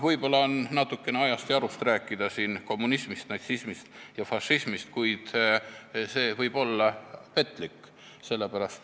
Võib-olla on natukene ajast ja arust rääkida siin kommunismist, natsismist ja fašismist, kuid see võib olla petlik.